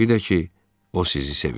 Bir də ki, o sizi sevir.